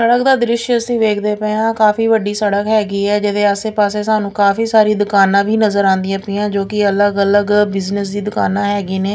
ਸੜਕ ਦਾ ਦ੍ਰਿਸ਼ ਅਸੀਂ ਵੇਖਦੇ ਪਏ ਆਂ ਕਾਫੀ ਵੱਡੀ ਸੜਕ ਹੈਗੀ ਆ ਜਿਹਦੇ ਆਸੇ ਪਾਸੇ ਸਾਨੂੰ ਕਾਫੀ ਸਾਰੀ ਦੁਕਾਨਾਂ ਨਜ਼ਰ ਆਂਦੀਆਂ ਪਈਆਂ ਜੋ ਕਿ ਅਲੱਗ ਅਲੱਗ ਬਿਜਨਸ ਦੁਕਾਨਾਂ ਹੈਗੀਆਂ ਨੇ।